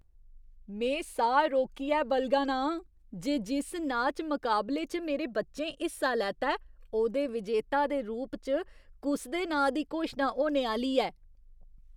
में साह् रोकियै बलगा ना आं जे जिस नाच मकाबले च मेरे बच्चें हिस्सा लैता ऐ, ओह्दे विजेता दे रूप च कुस दे नांऽ दी घोशना होने आह्‌ली ऐ।